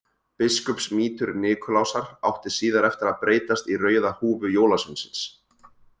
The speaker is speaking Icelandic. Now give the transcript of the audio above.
Biskupsmítur Nikulásar átti síðar eftir að breytast í rauða húfu jólasveinsins.